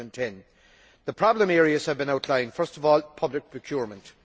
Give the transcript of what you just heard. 2010. The problem areas have been outlined first of all public procurement.